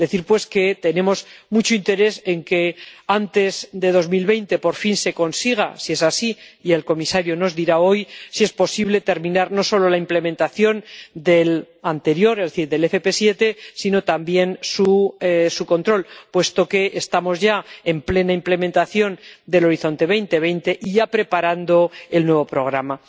Decir, pues, que tenemos mucho interés en que antes de 2020, por fin, se consiga, si es así —y el comisario nos dirá hoy—, si es posible, terminar no solo la implementación del anterior —es decir, del 7PM—, sino también su control, puesto que estamos ya en plena implementación de Horizonte 2020 y preparando el nuevo programa.